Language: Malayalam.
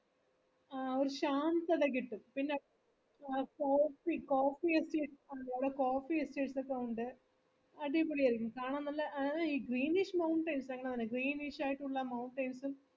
ആ ഒരു chance ഒക്കെ കിട്ടും പിന്നെ coffee coffee ഒക്കെ കാണാൻ നല്ല greenish ആയിട്ടുള്ള mountains ഉം